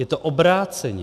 Je to obráceně.